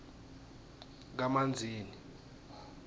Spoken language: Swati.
kamanzini